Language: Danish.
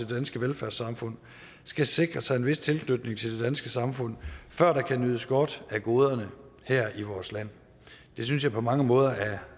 danske velfærdssamfund skal sikre sig en vis tilknytning til det danske samfund før der kan nydes godt af goderne her i vores land det synes jeg på mange måder er